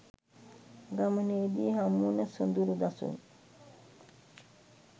ගමනේදී හමුවන සොඳුරු දසුන්